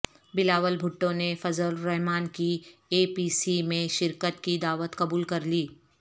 بلاول بھٹو نے فضل الرحمان کی A P C میں شرکت کی دعوت قبول کرلی